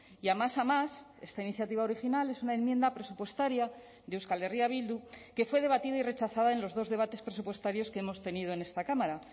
y a más a más esta iniciativa original es una enmienda presupuestaria de euskal herria bildu que fue debatida y rechazada en los dos debates presupuestarios que hemos tenido en esta cámara